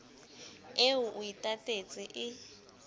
eo o e tatetseng e